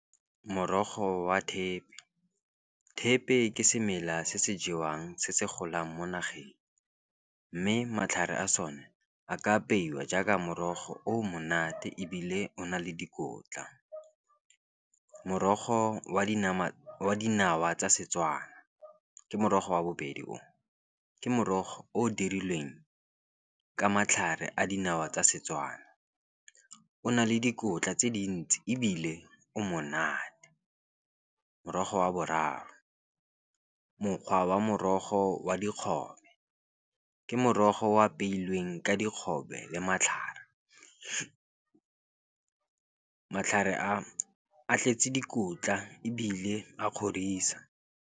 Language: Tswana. Morogo wa thepe, thepe ke semela se se jewang se se golang mo nageng mme matlhare a sone, a ka apeiwa jaaka morogo o monate ebile o na le dikotla. Morogo wa dinawa tsa Setswana ke motogo wa bobedi o, ke morogo o dirilweng ka matlhare a dinawa tsa setswana, o na le dikotla tse dintsi ebile o monate. Morogo wa boraro mokgwa wa morogo wa dikgobe, ke morogo o apeilweng ka dikgobe le matlhare matlhare a, a tletse dikotla ebile a kgorisa.